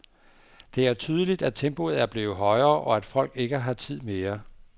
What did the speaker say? Det er tydeligt, at tempoet er blevet højere, og at folk ikke har tid mere.